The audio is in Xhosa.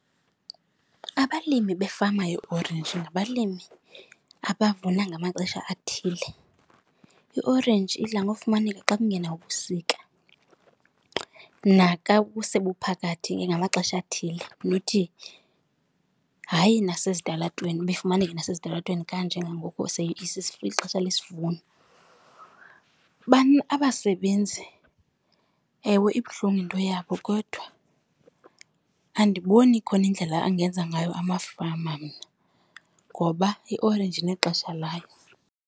Abalimi befama yeorenji ngabalimi abavuna ngamaxesha athile. Iorenji idla ngofumaneka xa kungena ubusika, naka busebuphakathi ngamaxesha athile hayi nasezitalatweni uba ifumaneke nasezitalatweni kanje ngangoku ilixesha lesivuno. Abasebenzi, ewe, ibuhlungu into yabo kodwa andiboni ikhona indlela angenza ngayo amafama mna ngoba iorenji inexesha layo.